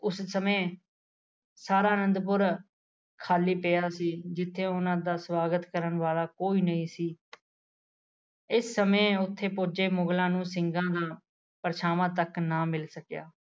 ਉਸ ਸਮੇਂ ਸਾਰਾ ਅਨੰਦਪੁਰ ਖਾਲੀ ਪਿਆ ਸੀ ਜਿੱਥੇ ਉਹਨਾਂ ਦਾ ਸੁਆਗਤ ਕਰਨ ਵਾਲਾ ਕੋਈ ਨਹੀ ਸੀ ਇਸ ਸਮੇਂ ਉੱਥੇ ਪੁੱਜੇ ਮੁਗਲਾਂ ਨੂੰ ਸਿੰਘਾ ਨਾਲ ਪਰਛਾਵਾਂ ਤੱਕ ਨਾ ਮਿਲ ਸਕਿਆ